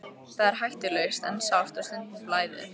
Það er hættulaust en sárt og stundum blæðir.